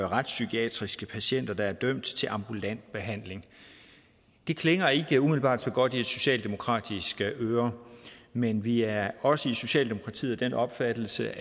retspsykiatriske patienter der er dømt til ambulant behandling det klinger ikke umiddelbart så godt i et socialdemokratisk øre men vi er også i socialdemokratiet af den opfattelse